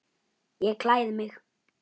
Ég klæði mig.